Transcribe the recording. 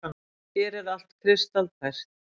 Hér er allt kristaltært.